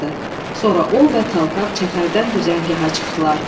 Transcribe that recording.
Sonra o və Talkav çəpərdən düzəngəha çıxdılar.